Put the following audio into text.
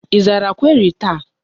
Ị zara query taa?